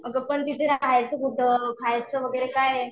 अगं पण तिथे राहायचं कुठं? खायचं वगैरे काय?